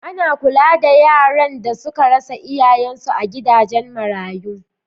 Ana kula da yaran da suka rasa iyayensu a gidajen marayu.